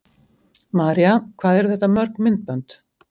María: Hvað eru þetta mörg myndbönd?